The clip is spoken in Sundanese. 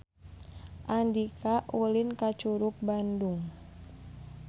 Andika ulin ka Curug Bandung